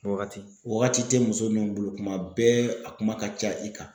Wagati wagati te muso nun bolo kuma bɛɛ a kuma ka ca i kan.